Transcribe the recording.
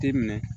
Te minɛ